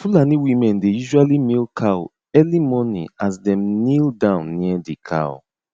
fulani women dey usually milk cow early morning as dem kneel down near the cow